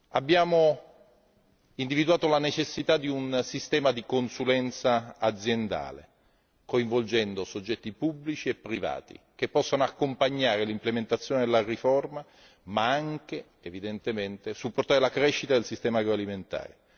Abbiamo individuato la necessità di un sistema di consulenza aziendale, coinvolgendo soggetti pubblici e privati, che possano sia accompagnare l'implementazione della riforma che supportare la crescita del sistema agroalimentare.